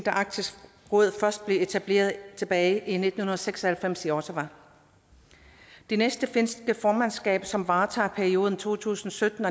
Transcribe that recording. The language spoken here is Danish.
arktisk råd blev etableret tilbage i nitten seks og halvfems i ottawa det næste finske formandskab som varetager perioden to tusind og sytten